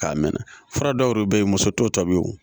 K'a mɛn fura dɔw yɛrɛ bɛ yen muso t'o tɔbili